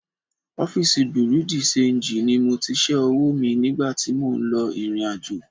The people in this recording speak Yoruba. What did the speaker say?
Ọfíísì Bùréú dì ṣenjì ni mo ti ṣẹ́ owó mi nígbà tí mò ń lọ ìrìnàjò